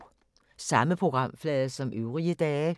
Samme programflade som øvrige dage